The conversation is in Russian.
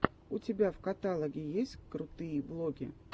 у тебя в каталоге есть крутые влоги